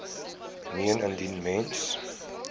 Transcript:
meen indien mens